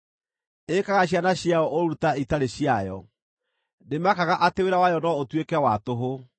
Ĩĩkaga ciana ciayo ũũru ta itarĩ ciayo; ndĩmakaga atĩ wĩra wayo no ũtuĩke wa tũhũ,